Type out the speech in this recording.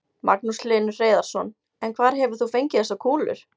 Magnús Hlynur Hreiðarsson: En hvar hefur þú fengið þessar kúlur?